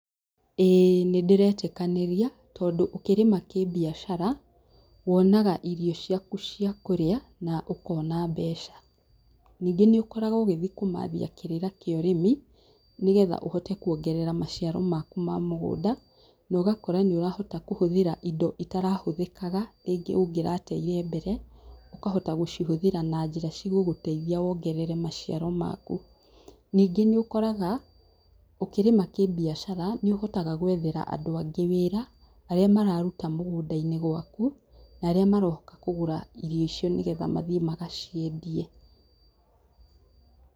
ĩĩ nĩndĩretikanĩria tondũ ũkĩrĩma kĩbiacara, wonaga irio ciaku cia kũrĩa na ũkona mbeca. Ningĩ nĩũkoragwo ũgĩthiĩ kũmathia kĩrĩra kĩa ũrĩmi, nĩgetha ũhote kuongerera maciaro maku ma mũgũnda, na ũgakora nĩũrahota kũhũthĩra indo itarahũthĩkaga rĩngĩ ũngĩrateire mbere, ũkahota gũcihũthĩra na njĩra cigũgũteithia wongerere maciaro maku. Ningĩ nĩũkoraga, ũkĩrĩma kĩbiacara, nĩũhotaga gwethera andũ angĩ wĩra, arĩa mararuta mũgũnda-inĩ gwaku, na arĩa maroka kũgũra irio icio nĩgetha mathiĩ magaciendie.